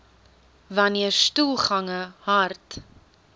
wanneer stoelgange hard